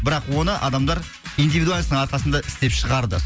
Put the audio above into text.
бірақ оны адамдар идивидуальносттың арқасында істеп шығарды